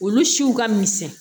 Olu siw ka misɛn